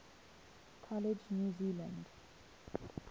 college new zealand